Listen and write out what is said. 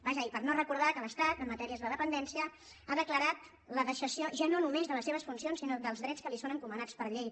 vaja i per no recordar que l’estat en matèries de dependència ha declarat el deixament ja no només de les seves funcions sinó dels drets que li són encomanats per llei